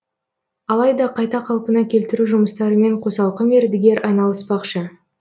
алайда қайта қалпына келтіру жұмыстарымен қосалқы мердігер айналыспақшы